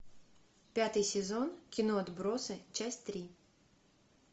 пятый сезон кино отбросы часть три